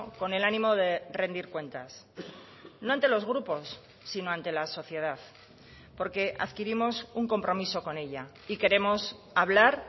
con el ánimo de rendir cuentas no ante los grupos sino ante la sociedad porque adquirimos un compromiso con ella y queremos hablar